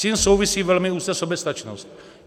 S tím souvisí velmi úzce soběstačnost.